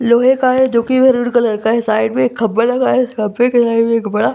लोहे का है जो की हरिहर कलर का है साइड में एक खंभा लगा है खंबे के साइड में एक बड़ा --